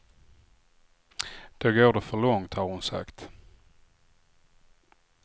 Då går det för långt, har hon sagt.